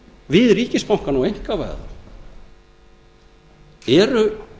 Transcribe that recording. við ríkisbankana og einkavæða þá eru